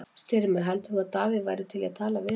Styrmir, heldur þú að Davíð væri til í að tala við hann?